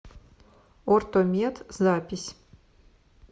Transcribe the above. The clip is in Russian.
ортомед запись